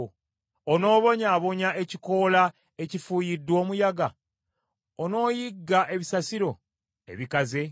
Onoobonyaabonya ekikoola ekifuuyiddwa omuyaga? Onooyigga ebisasiro ebikaze?